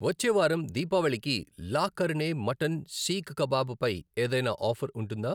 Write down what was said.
వచ్చే వారం దీపావళికి లా కర్ణే మటన్ శీక్ కబాబ్ పై ఏదైనా ఆఫర్ ఉంటుందా?